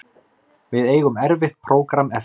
Við eigum erfitt prógramm eftir